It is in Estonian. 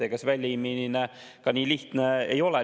Ega see väljaviimine nii lihtne ka ei ole.